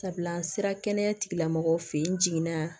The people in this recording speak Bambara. Sabula an sera kɛnɛya tigilamɔgɔw fɛ yen n jiginna